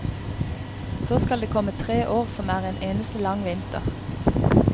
Så skal det komme tre år som er en eneste lang vinter.